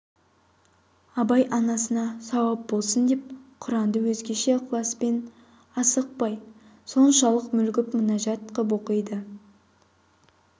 абай анасына сауап болсын деп құранды өзгеше ықласпен асықпай соншалық мүлгіп мінажат қып оқиды